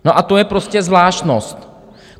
No a to je prostě zvláštnost.